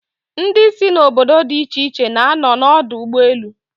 Ndi si n'obodo di iche iche na-ano n'odu ugboelu